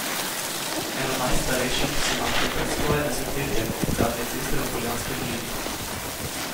Eno najstarejših so našli pred skoraj desetletjem ob gradnji ceste v Poljanski dolini.